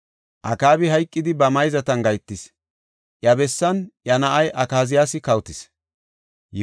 Akaabi hayqidi ba mayzatan gahetis; iya bessan iya na7ay Akaziyaasi kawotis.